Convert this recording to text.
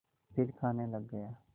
फिर खाने लग गया